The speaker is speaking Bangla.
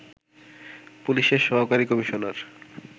পুলিশের সহকারী কমিশনার